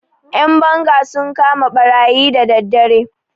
Ƴan banga sun kama ɓarayi da daddare.